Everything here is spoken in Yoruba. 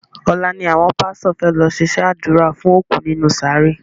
Ọ̀la ni àwọn pásítọ̀ fẹ́ lọ ṣe sẹ ádùrá fún òkú nínú sàárè